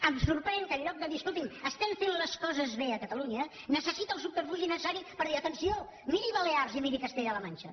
em sorprèn que en lloc de dir escolti’m estem fent les coses bé a catalunya necessita el subterfugi necessari per dir atenció miri balears i miri castella la manxa